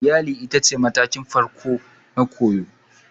Iyali ita ce matakin koyo na farko